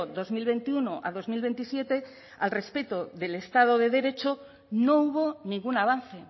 dos mil veintiuno a dos mil veintisiete al respecto del estado de derecho no hubo ningún avance